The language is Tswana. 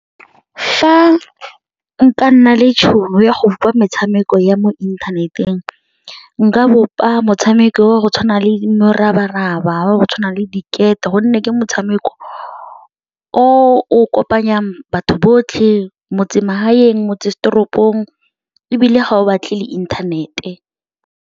Fa nka nna le tšhono ya go bopa metshameko ya mo inthaneteng, nka bopa motshameko wa go tshwana le morabaraba, wa go tshwana le di gate gonne ke motshameko o o kopanyang batho botlhe metsemagaeng, motsesetoropong ebile ga o batle le inthanete.